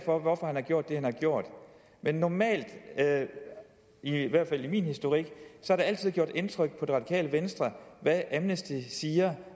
for hvorfor han har gjort det han har gjort men normalt i hvert fald i min historik har det altid gjort indtryk på det radikale venstre hvad amnesty international siger